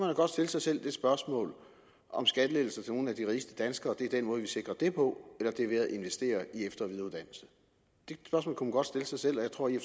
da godt stille sig selv det spørgsmål om skattelettelser til nogle af de rigeste danskere er den måde vi sikrer det på eller om det er ved at investere i efter og videreuddannelse det spørgsmål kunne man godt stille sig selv og jeg tror i